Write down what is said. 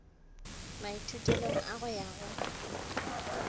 maithutelong a go ya go